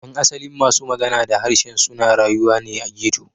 Yan asalin masu magana da harshe suna rayuwa ne a ghetto.